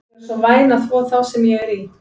Viltu vera svo væn að þvo þá sem ég er í?